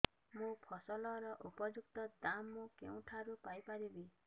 ମୋ ଫସଲର ଉପଯୁକ୍ତ ଦାମ୍ ମୁଁ କେଉଁଠାରୁ ପାଇ ପାରିବି